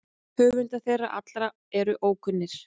Höfundar þeirra allra eru ókunnir.